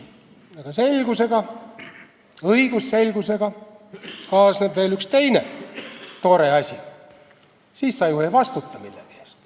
Kuid selgusega, õigusselgusega kaasneb veel üks tore asi: siis sa ju ei vastuta millegi eest.